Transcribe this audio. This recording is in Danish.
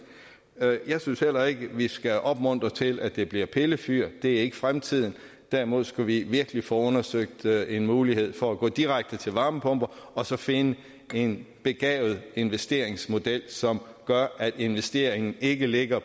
jeg synes heller ikke at vi skal opmuntre til at det bliver pillefyr det er ikke fremtiden derimod skal vi virkelig få undersøgt en mulighed for at gå direkte til varmepumper og så finde en begavet investeringsmodel som gør at investeringen ikke ligger